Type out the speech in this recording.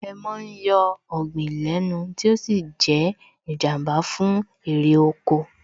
Èèmọ̀ ń yọ ọ̀gbìn lẹ́nu tí ó sì ń ṣe Ìjàmbá fún èrè oko